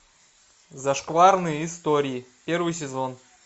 зашкварные истории первый сезон